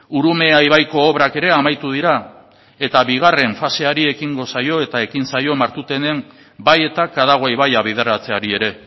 urumea ibaiko obrak ere amaitu dira eta bigarren faseari ekingo zaio eta ekin zaio martutenen bai eta kadagua ibaia bideratzeari ere